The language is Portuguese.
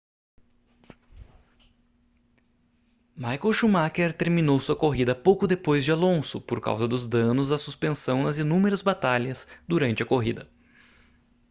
michael schumacher terminou sua corrida pouco depois de alonso por causa dos danos à suspensão nas inúmeras batalhas durante a corrida